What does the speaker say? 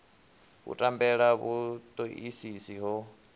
u tambela ha vhutoisisi ho